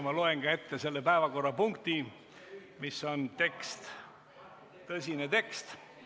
Ma loen ette ka selle päevakorrapunkti pealkirja, mis on tekst, tõsine tekst.